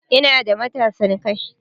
Ina da matasan kai